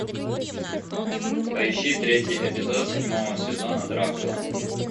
поищи третий эпизод седьмого сезона дракула